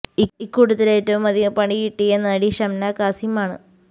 ഇക്കൂട്ടത്തിൽ ഏറ്റവും അധികം പണി കിട്ടിയ നടി ഷംനാ കാസിം ആണ്